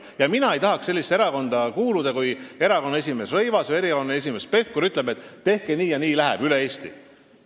Ja mina ei tahaks kuuluda sellisesse erakonda, kus erakonna esimees Rõivas või Pevkur ütleb, et tehke nii, ja nii lähebki üle Eesti.